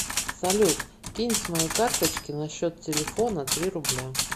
салют кинь с моей карточки на счет телефона три рубля